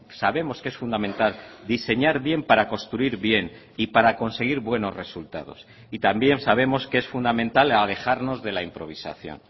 sabemos que es fundamental diseñar bien para construir bien y para conseguir buenos resultados y también sabemos que es fundamental alejarnos de la improvisación